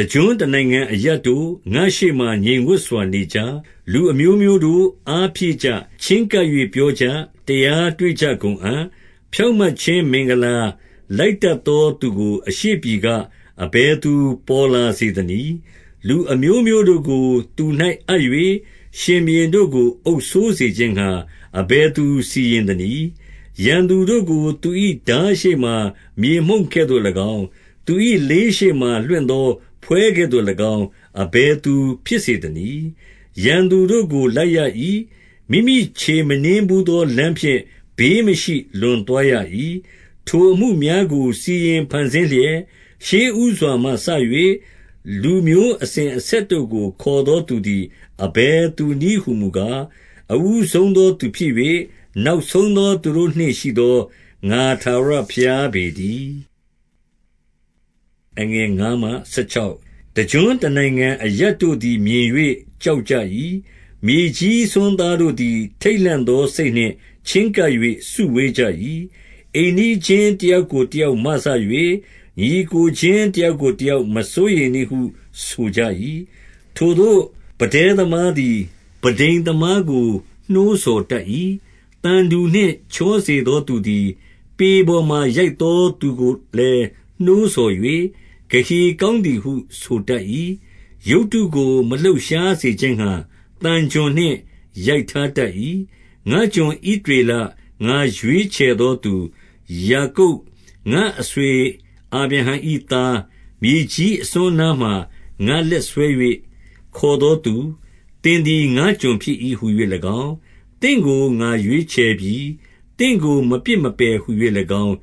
တကျွန်းတနိုင်ငံအရပ်တို့၊ ငါ့ရှေ့မှာ ငြိမ်ဝပ်စွာ နေကြ။ လူအမျိုးမျိုးတို့၊ အားဖြည့်ကြ။ ချဉ်းကပ်၍ ပြောကြ။ တရားတွေ့ကြကုန်အံ့။ ဖြောင့်မတ်ခြင်းမင်္ဂလာ လိုက်တတ်သော သူကို အရှေ့ပြည်က၊ အဘယ်သူ ပေါ်လာစေသနည်း။ လူ အမျိုးမျိုးတို့ သူ၌အပ်၍၊ ရှင်ဘုရင်တို့ကို အုပ်စိုးစေခြင်းငှါ၊ အဘယ်သူ စီရင်သနည်း။ ရန်သူတို့ကို သူ၏ထားရှေ့မှာ မြေမှုန့်ကဲ့သို့၎င်း၊ သူ၏လေးရှေ့မှာ လွင့်သောဖွဲကဲ့သို့၎င်း အဘယ်သူဖြစ်စေသနည်း။ ရန်သူတို့ကို လိုက်ရ၏။ မိမိခြေမနင်းဘူးသော လမ်းဖြင့်၊ ဘေးမရှိ၊ လွန်သွားရ၏။ ထိုအမှုများကို စီရင်ဖန်ဆင်းလျက်၊ ရှေ့ဦးစွာမှ စ၍ လူမျိုးအစဉ်အဆက်တို့ကို ခေါ်သောသူသည် အဘယ်သူနည်းဟူမူကား၊ အဦးဆုံးသော သူဖြစ်၍၊ နောက်ဆုံးသော သူတို့နှင့်ရှိသော ငါထာဝရဘုရား ပေတည်း။ တကျွန်းတနိုင်ငံအရပ်တို့သည် မြင်၍ ကြောက် ကြ၏။ မြေကြီးစွန်းသားတို့သည် ထိတ်လန့်သော စိတ်နှင့် ချဉ်းကပ်၍ စုဝေးကြ၏။ အိမ်နီးချင်းတယောက်ကို တယောက်မစ၍၊ ညီအစ်ကိုချင်း တယောက်ကိုတယောက်၊ မစိုးရိမ်နှင့်ဟု ဆိုကြ၏။ ထိုသို့ ပန်းတဉ်းသမားသည် ပန်းထိမ်သမားကို နှိုးဆော်တတ်၏။ သံတူနှင့် ချောစေသော သူသည်။ ပေပေါ်မှာ ရိုက်သော သူကိုလည်း နှိုးဆော်၍၊ ဂဟေ ကောင်းသည်ဟု ဆိုတတ်၏။ ရုပ်တုကို မလှုပ်ရှားစေခြင်း ငှါ သံချွန်နှင့် ရိုက်ထားတတ်၏။ ငါ့ကျွန်ဣသရေလ၊ ငါရွေးချယ်သောသူ ယာကုပ်၊ ငါ့အဆွေအာဗြဟံ၏သား၊ မြေကြီးအစွန်းအနားမှ ငါလက်ဆွဲ၍ ခေါ်သော သူ၊ သင်သည် ငါ့ကျွန်ဖြစ်၏ဟူ၍၎င်း၊ သင့်ကို ငါရွေး ချယ်ပြီ၊ သင့်ကို မပစ်မပယ်ဟူ၍၎င်း